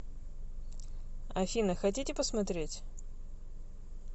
афина хотите посмотреть